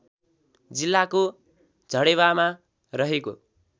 जिल्लाको झडेवामा रहेको